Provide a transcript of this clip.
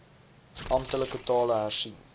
amptelike tale hersien